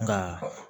Nka